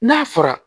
N'a fɔra